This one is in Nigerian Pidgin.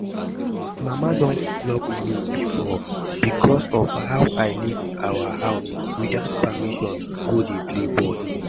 My mama don flog me before because of how I leave our house without permission go dey play ball